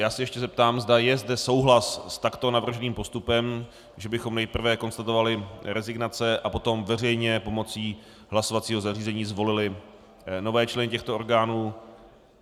Já se ještě zeptám, zda je zde souhlas s takto navrženým postupem, že bychom nejprve konstatovali rezignace a potom veřejně pomocí hlasovacího zařízení zvolili nové členy těchto orgánů.